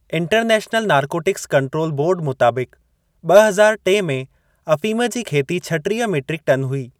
International narcotics control board मुताबिक़, ॿ हज़ार टे में अफ़ीम जी खेती छटीह मीट्रिक टन हुई।